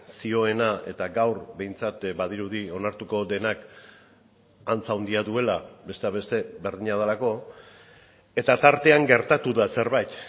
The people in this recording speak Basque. zioena eta gaur behintzat badirudi onartuko denak antza handia duela besteak beste berdina delako eta tartean gertatu da zerbait